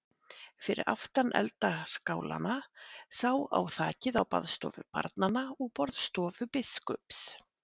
Fyrir aftan eldaskálana sá á þakið á baðstofu barna og borðstofu biskups.